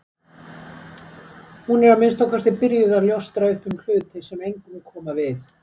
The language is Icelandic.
Hún er að minnsta kosti byrjuð að ljóstra upp um hluti sem engum koma við.